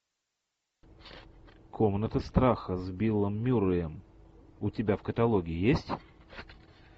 комната страха с биллом мюрреем у тебя в каталоге есть